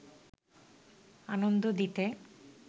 আনন্দ দিতে